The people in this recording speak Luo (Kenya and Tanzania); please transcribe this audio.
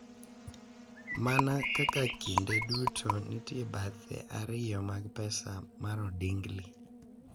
Mana kaka kinde duto nitie bathe ariyo mag pesa mar odingli,